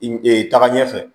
taga ɲɛfɛ